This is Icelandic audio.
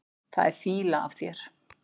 Það er fýla af þér.